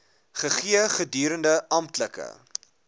gegee gedurende amptelike